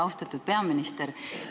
Austatud peaminister!